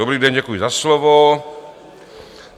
Dobrý den, děkuji za slovo.